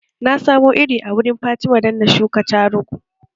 Na samo iri a wurin fatima don na shuka tarugu